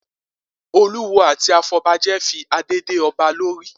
Olúwo àti afọbajẹ fi adé dé ọba lórí